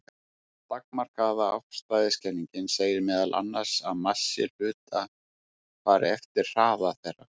Takmarkaða afstæðiskenningin segir meðal annars að massi hluta fari eftir hraða þeirra.